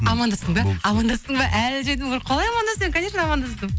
амандастың ба амандастың ба қалай амандаспаймын конечно амандастым